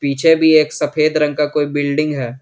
पीछे भी एक सफेद रंग का कोई बिल्डिंग है।